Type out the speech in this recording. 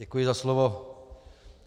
Děkuji za slovo.